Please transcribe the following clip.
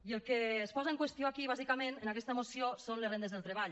i el que es posa en qüestió aquí bàsicament en aquest moció són les rendes del treball